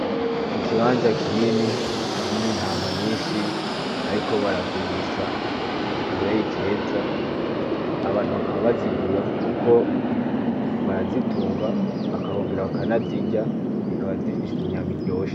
Ikibanza kinini harimwo intama nyishi bariko baragurisha kukabeyi keza abantu bakaba bazigura kuko barazitunga bakongera bakanazirya zikaba zifise inyama iryoshe.